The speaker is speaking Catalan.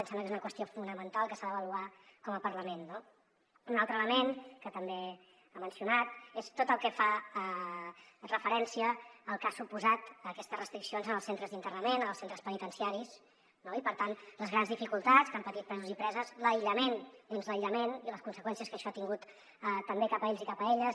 i ens sembla que és una qüestió fonamental que s’ha d’avaluar com a parlament no un altre element que també ha mencionat és tot el que fa referència al que han suposat aquestes restriccions als centres d’internament als centres penitenciaris i per tant les grans dificultats que han patit presos i preses l’aïllament dins l’aïllament i les conseqüències que això ha tingut també cap a ells i cap a elles